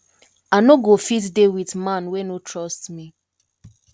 i no go fit dey with man wey no trust me